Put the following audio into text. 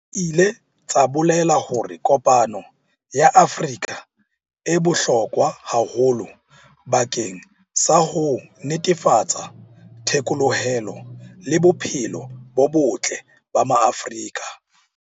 Di ile tsa bolela hore kopano ya Afrika e bohlokwa haholo bakeng sa ho netefatsa thekolohelo le bophelo bo botle ba Maafrika.